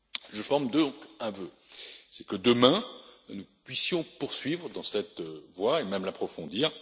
Je forme donc un vœu c'est que, demain, nous puissions poursuivre dans cette voie et même l'approfondir.